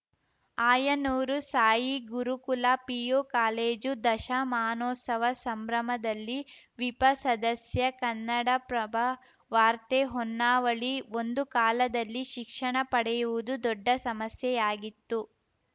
Ayanur Sai Gurukula PU college ದಶಮಾನೋತ್ಸವ ಸಂಭ್ರಮದಲ್ಲಿ ವಿಪ ಸದಸ್ಯ ಕನ್ನಡಪ್ರಭ ವಾರ್ತೆ ಹೊನ್ನಾವಳಿ ಒಂದು ಕಾಲದಲ್ಲಿ ಶಿಕ್ಷಣ ಪಡೆಯುವುದು ದೊಡ್ಡ ಸಮಸ್ಯೆಯಾಗಿತ್ತು